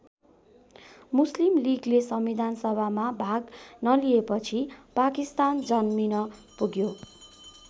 मुस्लिम लिगले संविधानसभामा भाग नलिएपछि पाकिस्तान जन्मिन पुग्यो।